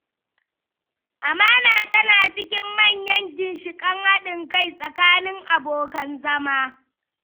Amana tana cikin manyan ginshiƙan haɗin kai tsakanin abokan zama.